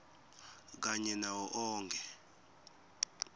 kanye nawo onkhe